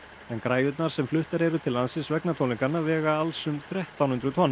en græjurnar sem fluttar eru til landsins vegna tónleikanna vega alls um þrettán hundruð tonn